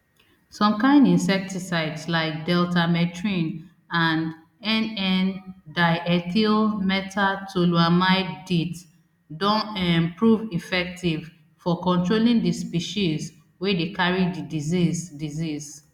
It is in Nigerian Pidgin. some kain insecticides like deltamethrin and nndiethylmetatoluamide deet don um prove effective for controlling di species wey dey carry di disease disease